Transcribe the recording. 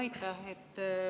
Aitäh!